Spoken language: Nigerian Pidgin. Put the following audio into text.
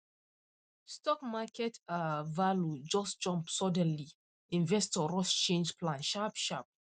stock market um value just jump suddenly investor rush change plan sharp sharp